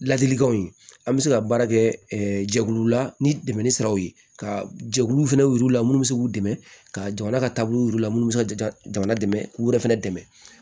Ladilikanw ye an bɛ se ka baara kɛ jɛkulu la ni dɛmɛ ni siraw ye ka jɛkulu fɛnɛ y'u la minnu bɛ se k'u dɛmɛ ka jamana ka taabolo yir'u la minnu bɛ se ka jamana dɛmɛ k'u yɛrɛ fɛnɛ dɛmɛ